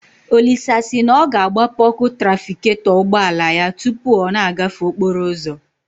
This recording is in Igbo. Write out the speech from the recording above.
Olisa si na ọ ga-agbape ọkụ trafigetọ ụgbọala ya tụpụ ọ na-agafe okporo ụzọ